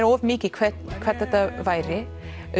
of mikið hvernig hvernig þetta væri